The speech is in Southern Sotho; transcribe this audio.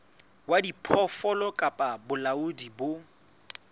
wa diphoofolo kapa bolaodi bo